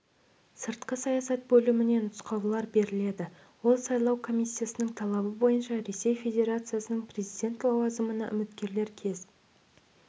сыртқы саясат бөліміне нұсқаулар беріледі ол сайлау комиссиясының талабы бойынша ресей федерациясының президент лауазымына үміткерлер кез